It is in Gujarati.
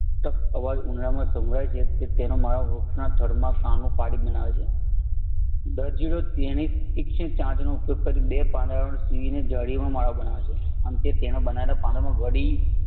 તક અવાજ સંભળાય છે. તે તેનો માળો વૃક્ષના થડમાં કાણું પાડીને બનાવે છે દરજીડો તેની ટિક્સણી ચાંચનો ઉપયોગ કરી બે પાંદડાઓને સીવી જાળીનો માળો બનાવે છે કેમકે તેના બનાવે લ પંદનામાં ઘડી